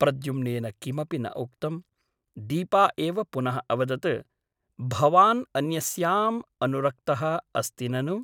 प्रद्युम्नेन किमपि न उक्तम् । दीपा एव पुनः अवदत् भवान् अन्यस्याम् अनुरक्तः अस्ति ननु ?